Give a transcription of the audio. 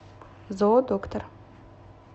зоодоктор